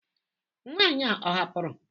Nwanyị a ọ hapụrụ?